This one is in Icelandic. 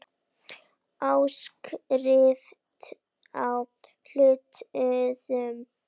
Áskrift að hlutum.